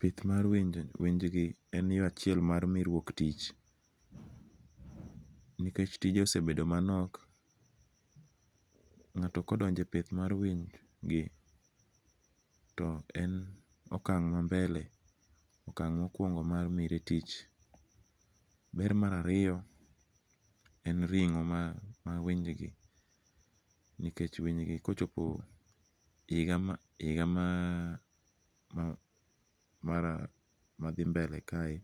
Pith mar winjgi enie yo achiel mar miruok tich, nikech tije osebedo manok, nga'to ka odonje pith mar winygi to en okang'ma mbele mokuongo' mar miri tich. Ber mar ariyo en ringo' mar winygi nikech winygi kochopo higa mar mathi mbele kae